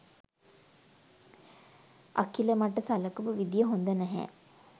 අකිල මට සලකපු විදිහ හොඳ නැහැ.